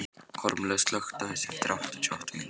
Kormlöð, slökktu á þessu eftir áttatíu og átta mínútur.